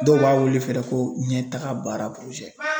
Dɔw b'a wele fɛnɛ ko ɲɛtaga baara